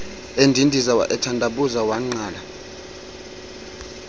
endindiza ethandabuza wangqala